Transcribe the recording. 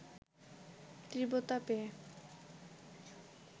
তীব্রতা পেয়ে